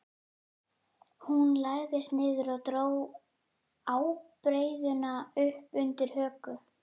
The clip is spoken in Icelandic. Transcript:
Hún lagðist niður og dró ábreiðuna upp undir höku.